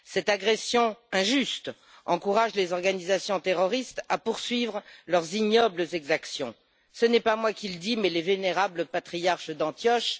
Cette agression injuste encourage les organisations terroristes à poursuivre leurs ignobles exactions. Ce n'est pas moi qui le dis, mais les vénérables patriarches d'Antioche.